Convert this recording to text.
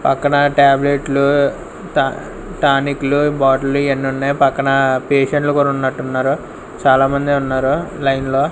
పక్కన టాబ్లెట్లు ట టానికులు బాటలు ఇయన్నీ ఉన్నాయ్ పక్కన పేషెంట్లు కూడా ఉన్నట్లు ఉన్నారు చాలామందే ఉన్నారు లైన్లో .